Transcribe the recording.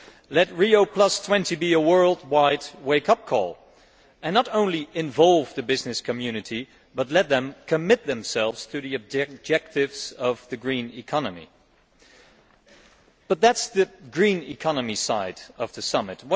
Let Rio20 be a worldwide wake up call and not only involve the business community but let them commit themselves to the objectives of the green economy. But that is the green economy' side of the Summit